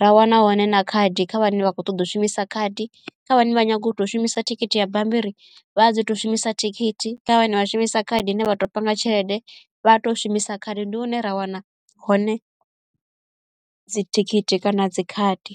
ra wana hone na khadi kha vhane vhakho ṱoḓa ushumisa khadi kha vhane vha nyago u tou shumisa thikhithi ya bambiri vha dzi to shumisa thikhithi kana vha shumisa khaedu ine vha to panga tshelede vha to shumisa khadi ndi hune ra wana hone dzi thikhithi kana dzi khadi.